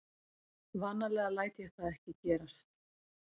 Vanalega læt ég það ekki gerast.